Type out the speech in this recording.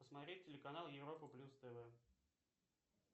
посмотреть телеканал европа плюс тв